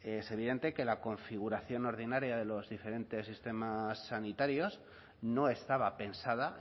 es evidente que la configuración ordinaria de los diferentes sistemas sanitarios no estaba pensada